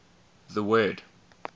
the word